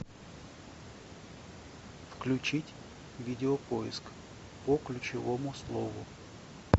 включить видео поиск по ключевому слову